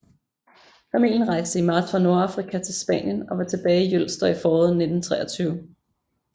Familien rejste i marts fra Nordafrika til Spanien og var tilbage i Jølster i foråret 1923